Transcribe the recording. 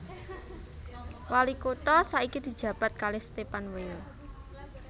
Wali kutha saiki dijabat kalih Stephan Weil